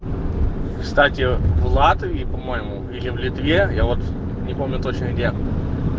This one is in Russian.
кстати в латвии по-моему или в литве я вот не помню точно где